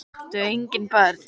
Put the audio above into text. Þau áttu engin börn.